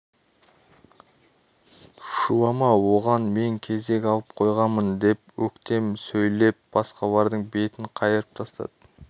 шулама оған мен кезек алып қойғанмын деп өктем сөйлеп басқалардың бетін қайырып тастады